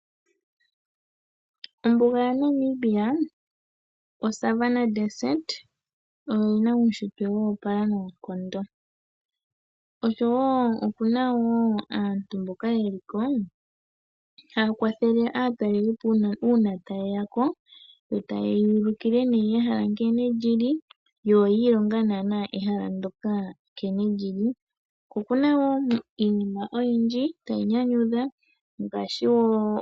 Ombuga ya Namibia oSavanna-Desert oyi na uushitwe woopala noonkondo. Osho wo oku na wo aantu mboka yeli ko, mboka haya kwathele aatalelipo uuna yeya ko to taye yuulukile ne ehala nkene lyili yo oyiilonga naana ehala ndjoka nkene lyili. Okuna woo iinima oyindji tayi nyanyudha.